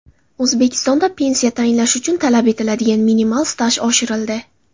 O‘zbekistonda pensiya tayinlash uchun talab etiladigan minimal staj oshirildi.